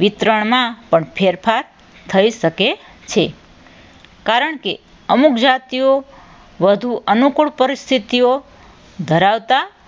વિતરણમાં પણ ફેરફાર થઈ શકે છે. કારણ કે અમુક જાતિઓ વધવાનું અનુકૂળ પરિસ્થિતિઓ ધરાવતા